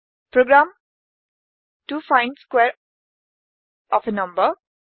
programme to find squares of a number